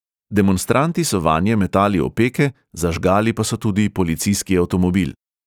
Demonstranti so vanje metali opeke, zažgali pa so tudi policijski avtomobil.